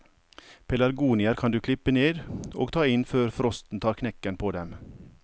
Pelargonier kan du klippe ned og ta inn før frosten tar knekken på dem.